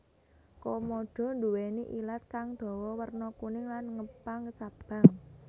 Komodo nduwèni ilat kang dawa werna kuning lan ngepang cabang